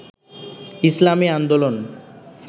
ইসলামী আন্দোলন